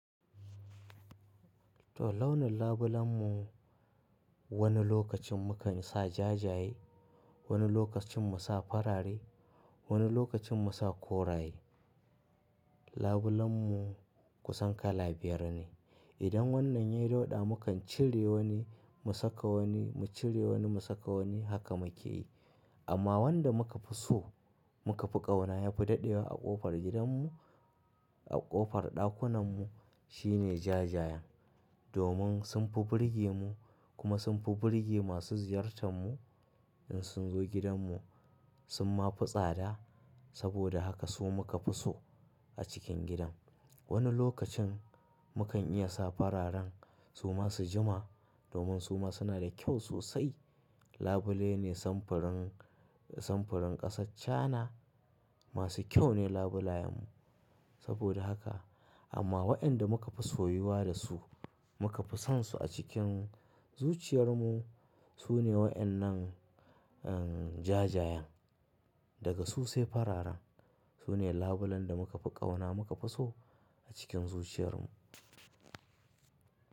To launin labulen mu, wani lokacin mu kan sa jajaye, wani lokacin mu sa farare, wani lokacin mu sa koraye. Labulen mu kusan kala biyar ne. Idan wannan yayi dauɗa mu kan cire wani mu saka wani, mu cire wani mu saka wani haka mu ke yi. Amma wanda mu ka fi so mu ka fi ƙauna ya fi dadewa a ƙofar gidan mu, a ƙofar ɗakunan mu shine jajayan. Domin sun fi burge mu kuma, sun fi burge masu ziyartan mu, in sun zo gidan mu, sun ma fi tsada. Saboda haka su mu ka fi so a cikin gidan. Wani lokacin mu kan iya sa fararen su ma su jima domin su ma suna da kyau sosai. Labule ne samfurin, samfurin ƙasar Cana. Masu kyau ne labulayan mu, saboda haka. Amma waɗanda mu ka fi soyuwa da su, mu ka fi sonsu a cikin zuciyar mu, su ne waɗannan, um, jajayan. Daga su sai fararen. Su ne labulen da mu ka fi ƙauna mu ka fi so a cikin zuciyar mu.